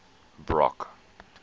brock